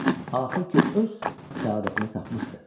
Axır ki öz səadətini tapmışdı.